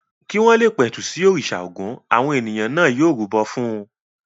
Kí wọ́n le pẹ̀tù sí òrìṣà Ògún àwọn ènìyàn náà yóò rúbọ fún un.